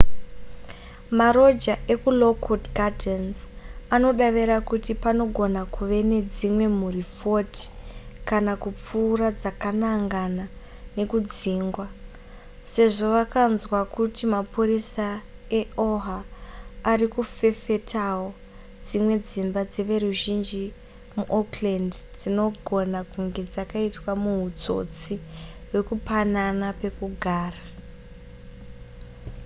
maroja ekulockwood gardens anodavira kuti panogona kuve nedzimwe mhuri 40 kana kupfuura dzakanangana nekudzingwa sezvo vakanzwa kuti mapurisa eoha ari kuferefetawo dzimwe dzimba dzeveruzhinji muoakland dzinogona kunge dzakaitwa muhutsotsi hwekupanana pekugara